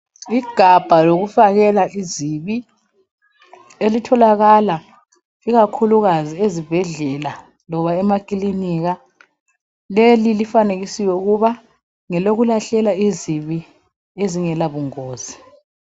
Ligabha lokufakela izibi elitholakala ikakhulukazi ezibhedlela loba emakilinika. Leli lifanekisiwe ukuba ngelokulahlela izibi ezingela bungozi.